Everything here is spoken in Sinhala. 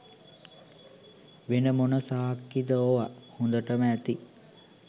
වෙන මොන සාක්කිද ඕව හොඳටම ඇති.